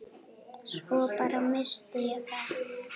Svo bara. missti ég það.